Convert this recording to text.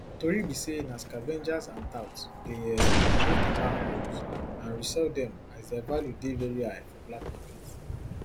tori be say na scavengers and touts dey um remove di manholes and resell dem as dia value dey very high for black market